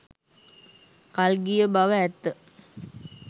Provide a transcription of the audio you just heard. කල්ගිය බව ඇත්ත.